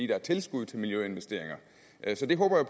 der er tilskud til miljøinvesteringer så det håber